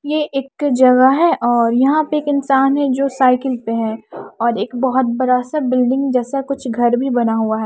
ये एक जगह है और यहां पे एक इंसान है जो साइकल पे है और एक बहोत बड़ा सा बिल्डिंग जैसा कुछ घर भी बना हुआ है।